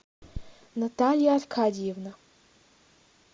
наталья аркадиевна